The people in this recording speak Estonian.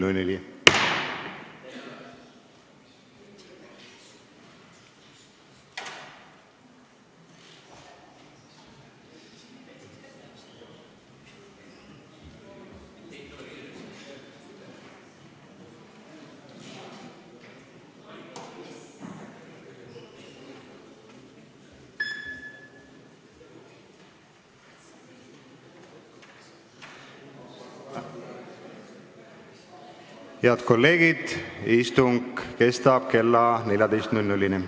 Hääletustulemused Head kolleegid, istung kestab kella 14-ni.